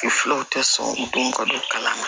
Filaw tɛ sɔn don ka don kalan na